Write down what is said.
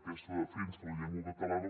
aquesta defensa de la llengua catalana